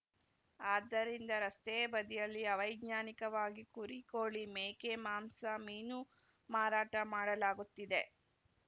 ಆದ್ದರಿಂದ ರಸ್ತೆ ಬದಿಯಲ್ಲಿ ಅವೈಜ್ಞಾನಿಕವಾಗಿ ಕುರಿ ಕೋಳಿ ಮೇಕೆ ಮಾಂಸ ಮೀನು ಮಾರಾಟ ಮಾಡಲಾಗುತ್ತಿದೆ